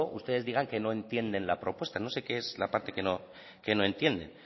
ustedes digan que no entienden la propuesta no sé qué es la parte que no entienden